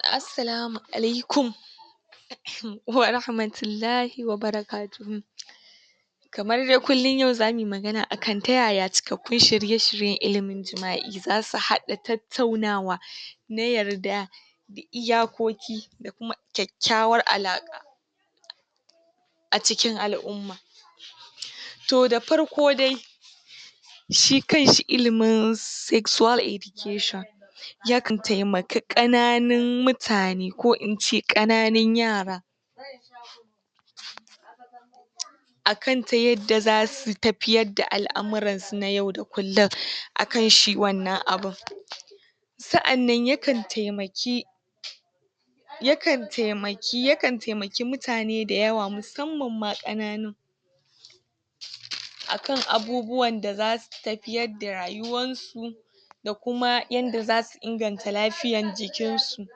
Assalamu alaikum wa rahamatullahi wa barakatuhu. Kamar dai kullum yau zamu yi magana akan ta yaya cikakkun shirye-shiryen ilimi jima'i za su haɗa tattaunawa na yarda, iyakoki, kyakkyawar alaƙa a cikin al'umma. To da farko dai shi kan shi ilimin sexual education, ya kan taimaki ƙananun mutane, ko in ce ƙananun yara akan ta yadda za su tafiyar da al'amurransu na yau da kullum, akan shi wannan abun. Sa'annan ya kan taimaki ya kan taimaki ya kan taimaki mutane da yawa, musamman ma ƙananun, akan abubuwan da za su tafiyar da rayuwar su da kuma yanda za su inganta lafiyan jikinsu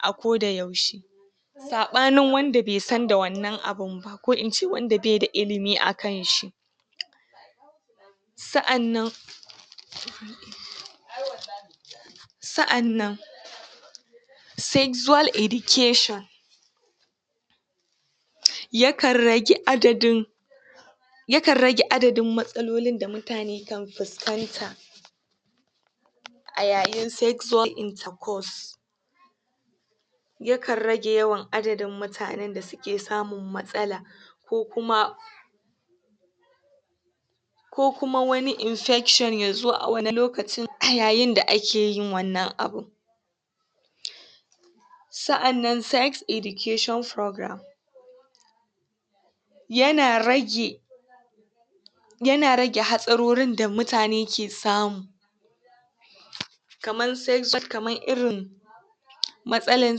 a koda yaushe. Saɓanin wanda be san da wannan abun ba ko in e wanda be da ilimi akan shi, sa'annan sa'annan sexual education, ya kan rage adadin ya kan rage adadin matsalolin da mutane kan fuskanta a yayin sexual intercourse. Ya kan rage yawan adadin mutanen da suke samun matsala ko kuma ko kuma wani infection ya zo a wani lokaci a yayin da ake yin wannan abun. Sa'annan sex education program ya na rage ya na rage hatsarorin da mutane ke samu kamar sexual, kamar irin matsalan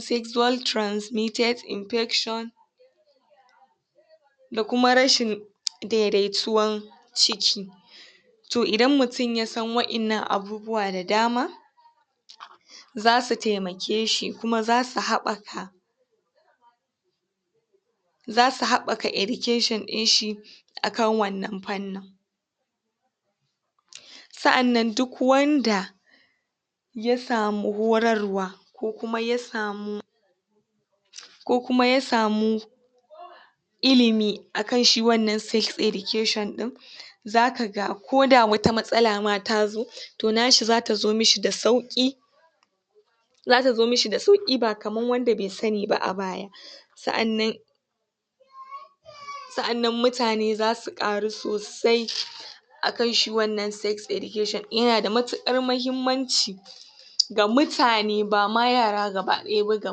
sexual transmitted infection, da kuma rashin dai-daituwan ciki. To idan mutum ya san waƴannan abubuwa da dama za su taimake shi, kuma za su haɓaka za su haɓaka education ɗin shi akan wannan fannin. Sa'annan duk wanda ya samu horarwa ko kuma ya samu ko kuma ya samu ilimi akan shi wannan sex education ɗin za ka ga, ko da wata matsala ma ta zo to na shi za ta zo mishi da sauƙi za ta zo mishi da sauƙi ba kaman wanda be sani ba a baya. Sa'annan sa'annan mutane za su ƙaru sosai akan shi wannan sex education ɗin, ya na da matuƙar mahimmanci ga mutane, ba ma yara gaba-ɗaya ba, ga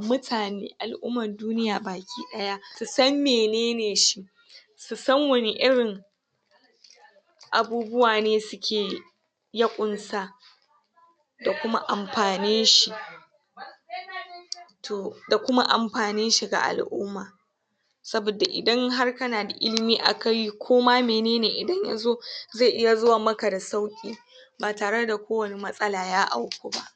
mutane al'umman duniya baki ɗaya su san menene shi su san wane irin abubuwa ne suke ya ƙunsa da kuma amfanin shi, to da kuma amfanin shi ga al'umma. Saboda idan har ka na da ilimi akai ko ma menene idan ya zo zai iya zuwa maka da sauƙi ba tare da kowane matsala ya auku ba.